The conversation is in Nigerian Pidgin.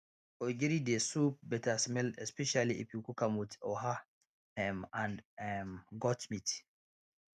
ogiri dey soup better smell especially if you cook am with oha um and um goat meat